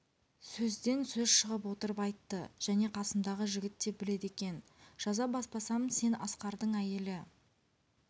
сөзден сөз шығып отырып айтты және қасымдағы жігіт те біледі екен жаза баспасам сен асқардың әйелі